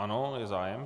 Ano, je zájem.